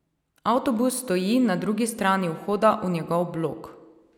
Avtobus stoji na drugi strani vhoda v njegov blok.